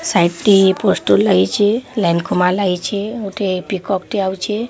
ସାଇଟି ପୋଷ୍ଟର୍ ଲାଗିଚେ। ଲାଇନ୍ ଖୁମା ଲାଗିଲେ। ଗୋଟେ ପିକକ୍ ଟେ ଆଉଚେ।